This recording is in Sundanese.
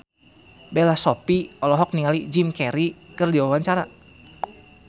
Bella Shofie olohok ningali Jim Carey keur diwawancara